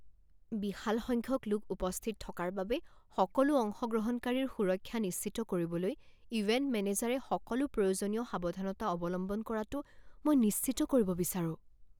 বিশাল সংখ্যক লোক উপস্থিত থকাৰ বাবে সকলো অংশগ্ৰহণকাৰীৰ সুৰক্ষা নিশ্চিত কৰিবলৈ ইভেণ্ট মেনেজাৰে সকলো প্ৰয়োজনীয় সাৱধানতা অৱলম্বন কৰাটো মই নিশ্চিত কৰিব বিচাৰোঁ।